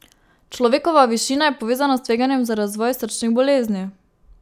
Človekova višina je povezana s tveganjem za razvoj srčnih bolezni.